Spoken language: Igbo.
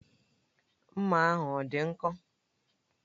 Mma ahụ ọ dị nkọ?